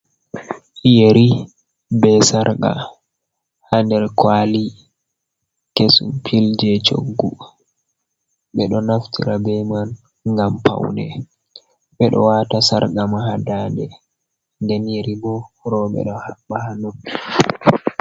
Yeri be sarqa ha nder kwali kesum pul je coggu ɓeɗo naftira be man ngam paune ɓeɗo wata sarga ma ha dande ɗen yeri bo roɓe do habba ha noppi.